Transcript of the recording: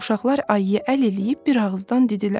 Uşaqlar ayıya əl eləyib bir ağızdan dedilər: